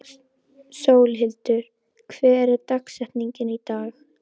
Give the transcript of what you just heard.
Sólhildur, hver er dagsetningin í dag?